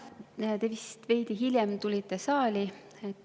Jah, te vist veidi hiljem tulite saali.